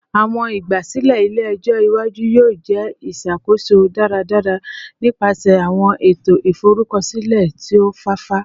Awọn igbasilẹ ile-ẹjọ iwaju yoo jẹ iṣakoso daradara nipasẹ awọn eto iforukọsilẹ ti o fafa